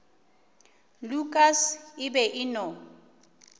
lukas e be e no